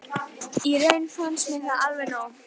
Í raun fannst mér það alveg nóg